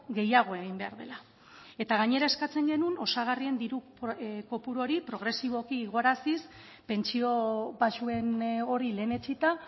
gehiago egin behar dela eta gainera eskatzen genuen osagarrien diru kopuru hori progresiboki igoaraziz pentsio baxuen hori lehenetsita